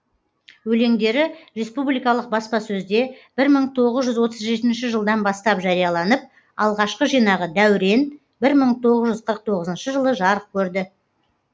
өлеңдері республикалық баспасөзде бір мың тоғыз жүз отыз жетінші жылдан бастап жарияланып алғашқы жинағы дәурен бір мың тоғыз жүз қырық тоғызыншы жылы жарық көрді